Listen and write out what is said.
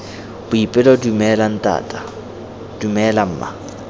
boipelo dumela ntata dumela mma